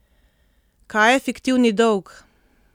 Kaj je fiktivni dolg?